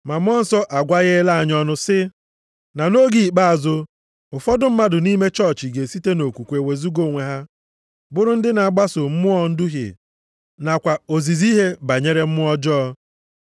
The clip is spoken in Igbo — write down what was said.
Ma Mmụọ Nsọ agwagheela anyị ọnụ sị, na nʼoge ikpeazụ ụfọdụ mmadụ nʼime chọọchị ga-esite nʼokwukwe wezuga onwe ha, bụrụ ndị na-agbaso mmụọ nduhie nakwa ozizi ihe banyere mmụọ ọjọọ.